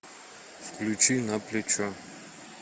включи на плечо